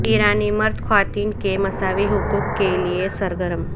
ایرانی مرد خواتین کے مساوی حقوق کے لیے سرگرم